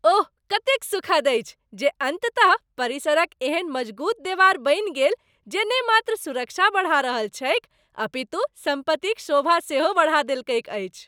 ओह कतेक सुखद अछि जे अन्ततः परिसरक एहन मजगूत देवार बनि गेल जे ने मात्र सुरक्षा बढ़ा रहल छैक अपितु सम्पत्तिक शोभा सेहो बढ़ा देलकैक अछि।